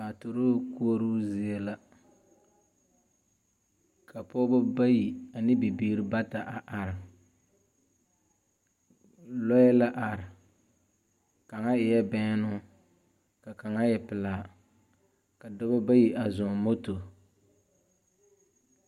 Paturuu koɔroo zie la ka pɔgebɔ bayi ane bibiiri bata a are. Lɔɛ la are. Kaŋa eɛ bɛnnoo, ka kaŋa e pelaa. Ka dɔbɔ bayi a zɔɔŋ moto.